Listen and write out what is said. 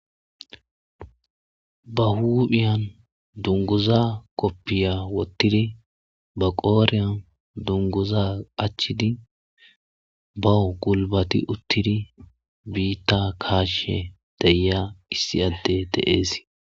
ba huuphiyan dunguza koppiya wottidi ba qooriyan dunguza achchidi bawo gulbati uttidi biitta kaashe deya issi adde deees